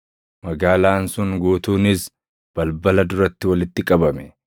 Magaalaan sun guutuunis balbala duratti walitti qabame.